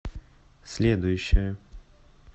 следующая